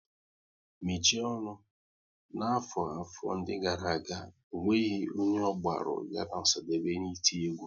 Mechie ọnụ! N'afọ 'afọ ndị gara aga, ọ nweghị onye ọ gbaru ya na Osadebe n' iti egwu